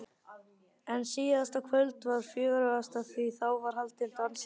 En síðasta kvöldið var fjörugast því þá var haldinn dansleikur.